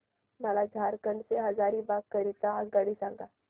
मला झारखंड से हजारीबाग करीता आगगाडी सांगा